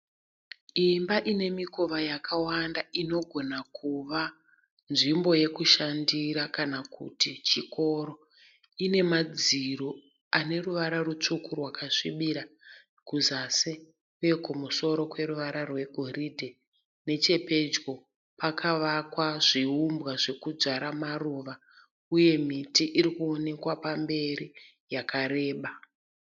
Imba ine mikova yakawanda inogona kuva nzvimbo yekushandira kana kuti chikoro. Ine madziro aneruvara rutsvuku ra rwakasvibira kuzasi uye kumusoro kweruvara rwegoridhe nechepedyo kwakavakwa zviumbwa zvekudyara maruva uye miti iri kuoneka pamberi yakareba